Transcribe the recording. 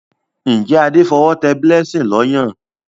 Njé Ade f'owo té blessing ló Ọyàn?